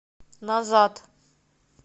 назад